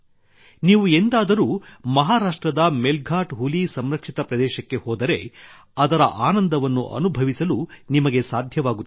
ನೀವು ಎಂದಾದರೂ ಮಹಾರಾಷ್ಟ್ರದ ಮೆಲ್ಘಾಟ್ ಹುಲಿ ಸಂರಕ್ಷಿತ ಪ್ರದೇಶಕ್ಕೆ ಹೋದರೆ ಅದರ ಆನಂದವನ್ನು ಅನುಭವಿಸಲು ನಿಮಗೆ ಸಾಧ್ಯವಾಗುತ್ತದೆ